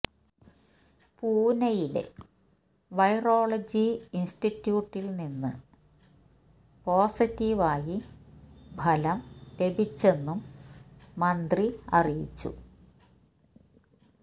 പുന്നെയിലെ virology ഇൻസ്റ്റിറ്റ്യൂട്ടിൽ നിന്ന് positive ആയി ഫലം ലഭിച്ചെന്നും മന്ത്രി അറിയിച്ചു